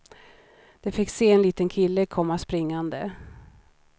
De fick se en liten kille komma springande.